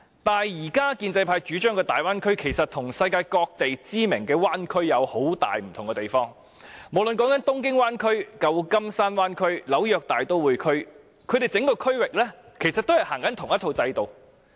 但是，現時建制派主張的大灣區其實與世界各地知名的灣區有很大分別。無論是東京灣區、舊金山灣區或紐約大都會區，整個區域皆是實行同一套制度的。